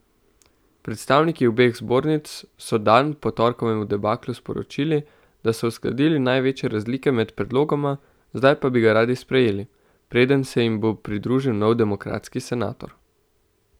Predstavniki obeh zbornic so dan po torkovem debaklu sporočili, da so uskladili največje razlike med predlogoma, zdaj pa bi ga radi sprejeli, preden se jim bo pridružil nov demokratski senator.